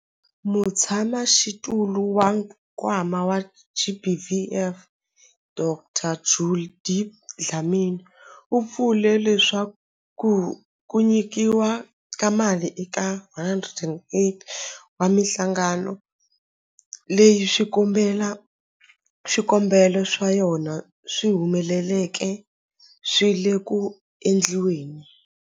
Mutshamaxitulu wa Nkwama wa GBVF, Dkd Judy Dlamini, u vule leswaku ku nyikiwa ka mali eka 108 wa mihlangano leyi swikombelo swa yona swi humeleleke swi le ku endliweni.